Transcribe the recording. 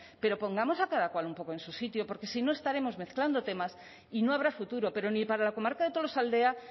pero pongamos a cada cual un poco en su sitio porque si no estaremos mezclando temas y no habrá futuro pero ni para la comarca de tolosaldea